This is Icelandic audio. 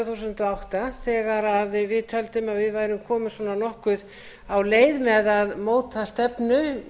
þúsund og átta þegar við töldum að við værum komin nokkuð á leið með að móta stefnu